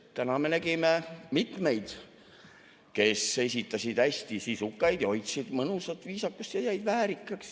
Täna me nägime mitmeid, kes esitasid hästi sisukaid ja hoidsid mõnusat viisakust ja jäid väärikaks.